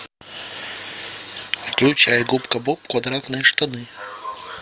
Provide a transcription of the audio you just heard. включай губка боб квадратные штаны